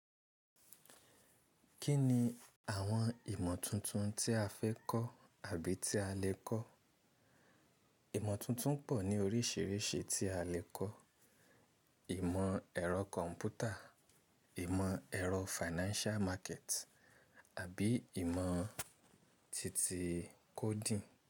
Kí ni àwọn ìmọ̀ tuntun tí a fẹ́ kọ́ àbí tí a lè kọ́? Ìmọ̀ tuntun pọ̀ ní oríṣiríṣi tí a lè kọ́. Ìmọ̀ ẹ̀rọ kọ̀m̀pútà, ìmọ̀ ẹ̀rọ financial market, àbí ìmọ̀ titi coding.